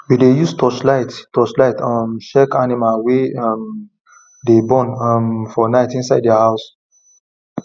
we dey use torchlight torchlight um check animals wey um dey born um for night inside their house